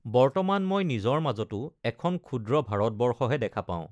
বৰ্তমান, মই নিজৰ মাজতো এখন ক্ষুদ্ৰ ভাৰতবৰ্ষহে দেখা পাওঁ।